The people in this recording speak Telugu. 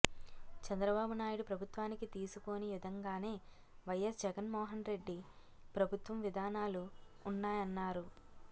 చంద్రబాబు నాయుడు ప్రభుత్వానికి తీసిపోని విధంగానే వైఎస్ జగన్మోహన్ రెడ్డి ప్రభుత్వం విధానాలున్నాయన్నారు